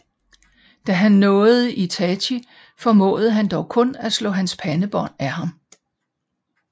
Da han nåede Itachi formåede han dog kun at slå hans pandebånd af ham